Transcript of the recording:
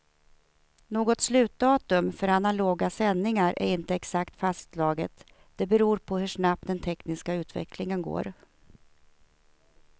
Något slutdatum för analoga sändningar är inte exakt fastslaget, det beror på hur snabbt den tekniska utvecklingen går.